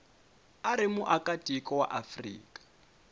u ri muakatiko wa afrika